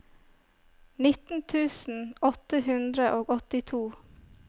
nitten tusen åtte hundre og åttito